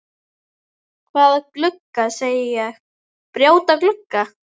Hvaða glugga segi ég, brjóta glugga?